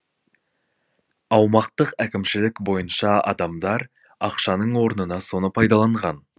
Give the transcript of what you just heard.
аумақтық әкімшілік бойынша адамдар ақшаның орнына соны пайдаланған